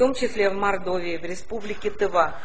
в том числе в мордовии в республике тыва